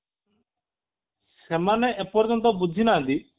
ସେମାନେ ଏ ପର୍ଯ୍ୟନ୍ତ ବୁଝି ନାହାନ୍ତି